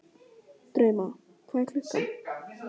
Drauma, hvað er klukkan?